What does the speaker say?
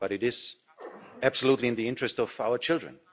But it is absolutely in the interests of our children.